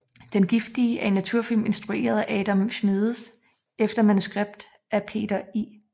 Den giftige er en naturfilm instrueret af Adam Schmedes efter manuskript af Peter I